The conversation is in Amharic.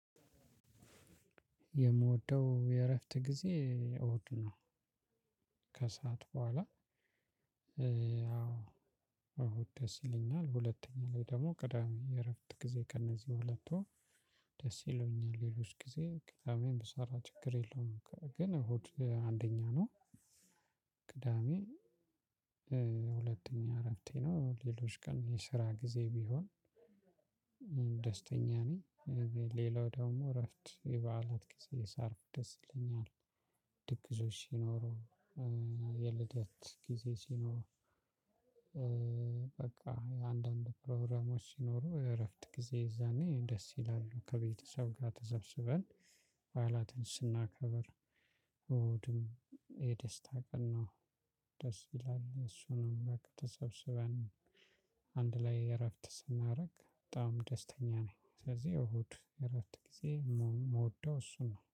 የምወደው የእረፍት ጊዜ እሁድ ነው። ከሰአት በኋላ ያው እሁድ ደስ ይለኛል ሁለተኛ ላይ ደግሞ ቅዳሜ የእረፍት ጊዜ ከእነዚህ ሁለቱ ደስ ይሉኛል። ሌሎች ጊዜ ቅዳሜን ብሰራ ችግር የለውም ግን እሁድ አንደኛ ነው። ቅዳሜ ሁለተኛ እረፍቴ ነው። ሌሎች ቀን የስራ ጊዜ ቢሆን ደስተኛ ነኝ። ሌላው ደግሞ እረፍት የበዓላት ጊዜ ሳርፍ ደስ ይለኛል። ድግሶች ሲኖሩ የልደት ጊዜ ሲኖር በቃ የአንዳንድ ፕሮግራሞች ሲኖሩ እረፍት ጊዜ እዛኔ ደስ ይላሉ። ከቤተሰብ ጋር ተሰብስበን በዓላትን ስናከብር እሁድም የደስታ ቀን ነው። ደስ ይላል እሱ ነው በቃ ተሰብስበን አንድ ላይ እረፍት ስናደርግ በጣም ደስተኛ ነኝ። ስለዚህ እሁድ እረፍት ጊዜ የምወደው እሱ ነው